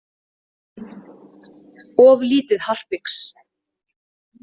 Of lítið harpix.